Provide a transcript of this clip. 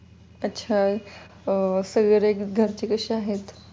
अच्छा अं सगळे घरचे कसे आहेत?